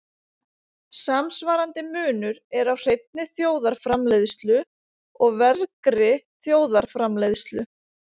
Samsvarandi munur er á hreinni þjóðarframleiðslu og vergri þjóðarframleiðslu.